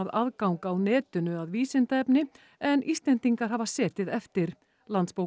aðgang á netinu að vísindaefni en Íslendingar hafa setið eftir